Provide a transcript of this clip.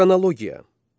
Xronologiya.